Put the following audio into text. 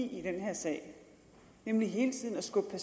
sag nemlig hele tiden at skubbe